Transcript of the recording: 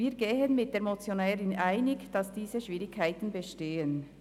Wir gehen mit der Motionärin einig, dass diese Schwierigkeiten bestehen.